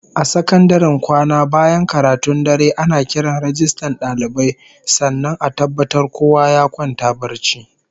A sakandaren kwana bayan karatun dare, ana kiran rajistan dalibai sannan a tabbatar kowa ya kwanta barci